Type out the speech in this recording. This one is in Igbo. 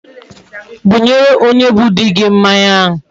Bunye onye bu di gi mmanya a